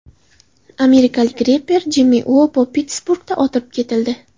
Amerikalik reper Jimmi Uopo Pittsburgda otib ketildi.